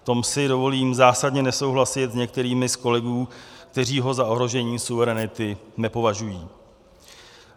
V tom si dovolím zásadně nesouhlasit s některými z kolegů, kteří ho za ohrožení suverenity nepovažují.